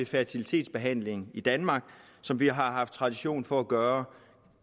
fertilitetsbehandling i danmark som vi har haft tradition for at gøre